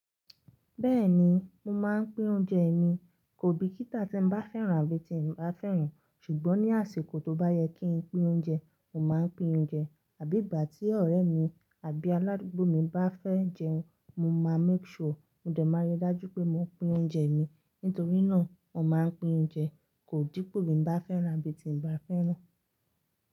Bẹ́ẹ̀ni, mo máa ń pín oúnjẹ mi. Kò bí kítá tí ń bá fẹ́ràn àbí tí ń bá fẹ́ràn. Ṣùgbọ́n ní àsìkò tó bá yẹ kí ń pín oúnjẹ, mo máa ń pín oúnjẹ. Àbí ìgbà tí ọ̀rẹ́ mi àbí aládùúgbò mi bá fẹ́ jẹun, mo máa make sure, mo dẹ̀ máa rí i dájú pé mo pín oúnjẹ mi. Nítorí náà, mo máa ń pín oúnjẹ, kò dípò bí ń bá fẹ́ràn àbí tí ń bá fẹ́ràn.